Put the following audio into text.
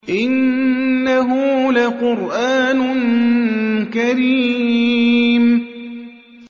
إِنَّهُ لَقُرْآنٌ كَرِيمٌ